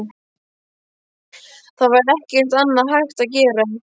Það var ekkert annað hægt að gera.